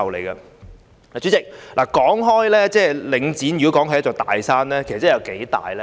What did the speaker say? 代理主席，如果說領展是"一座大山"，那究竟有多大呢？